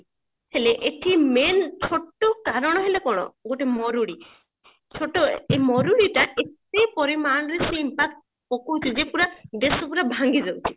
ହେଲେ ଏଠି main ଛୋଟ କାରଣ ହେଲା କଣ ଗୋଟେ ମରୁଡି ଛୋଟ ମରୁଡି ଟା ଏତେ ପରିମାଣରେ ସିଏ impact ପକୋଉଛି ଯେ ସେ ପୁରା ଦେଶ ପୁରା ଭାଙ୍ଗି ଦଉଛି